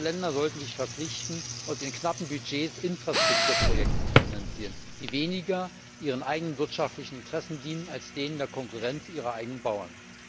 Diese Länder sollen sich verpflichten, aus ihren knappen Budgets Infrastrukturprojekte zu finanzieren, die weniger ihren eigenen wirtschaftlichen Interessen dienen als denen der Konkurrenz ihrer eigenen Bauern.